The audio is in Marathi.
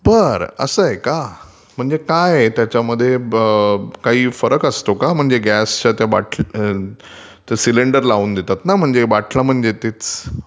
बरं असं आहे का? म्हणजे काय आहे त्याच्यामध्ये काही फरक असतो का म्हणजे गॅस त्या बाटला.... म्हणजे ते सिलेंडर लावून देतात ना..बाटला म्हणजे तेच